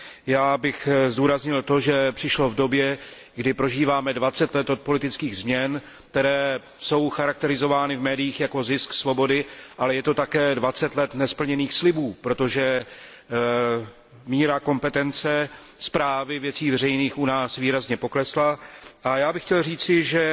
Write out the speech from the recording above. Já bych zdůraznil to, že přišlo v době, kdy prožíváme dvacet let od politických změn, které jsou charakterizovány v médiích jako zisk svobody, ale je to také dvacet let nesplněných slibů, protože míra kompetence správy věcí veřejných u nás výrazně poklesla, a já bych chtěl říci, že